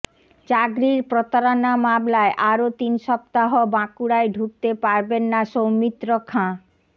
চাকরির প্রতারণা মামলায় আরও তিন সপ্তাহ বাঁকুড়ায় ঢুকতে পারবেন না সৌমিত্র খাঁ